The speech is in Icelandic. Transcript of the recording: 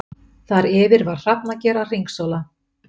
Þar yfir var hrafnager að hringsóla.